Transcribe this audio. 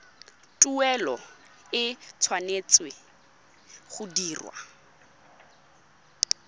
tuelo e tshwanetse go dirwa